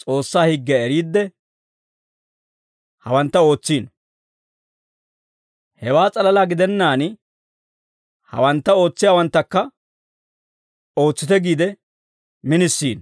S'oossaa higgiyaa eriidde, hawantta ootsiino; hewaa s'alalaa gidennaan, hawantta ootsiyaawanttakka ootsite giide minisiino.